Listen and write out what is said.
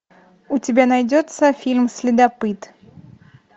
у тебя найдется фильм следопыт